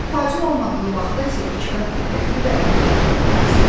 Tacın olmadığı vaxtda isə iki qat diqqətli və ehtiyatlı olmalısan.